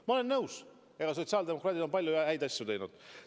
Ma olen nõus, et sotsiaaldemokraadid on palju häid asju teinud.